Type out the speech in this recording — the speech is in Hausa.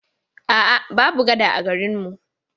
A'a, babu gada a garin mu.